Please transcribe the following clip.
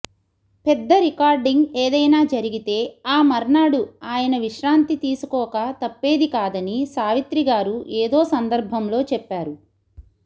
పెద్ద రికార్డింగ్ ఏదైనా జరిగితే ఆ మర్నాడు ఆయన విశ్రాంతి తీసుకోక తప్పేదికాదని సావిత్రిగారు ఏదో సందర్భంలో చెప్పారు